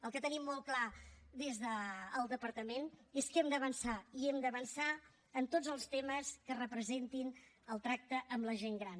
el que tenim molt clar des del departament és que hem d’avançar i hem d’avançar en tots els temes que representin el tracte amb la gent gran